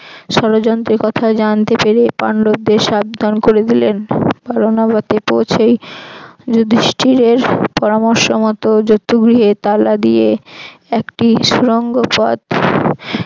ষড়যন্ত্রের কথা জানতে পেরে পান্ডবদের সাবধান করে দিলেন বারনাবতে পৌছেই যুধিষ্ঠির পরামর্শমত জতুগৃহে তালা দিয়ে একটি সুড়ঙ্গ পথ